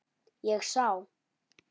Ég sá.